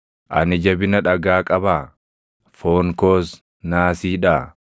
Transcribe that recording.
Ani jabina dhagaa qabaa? Foon koos naasiidhaa?